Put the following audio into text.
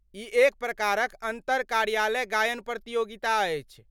ई एक प्रकारक अन्तर कार्यालय गायन प्रतियोगिता अछि।